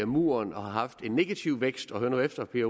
muren og har haft en negativ vækst og hør nu efter vil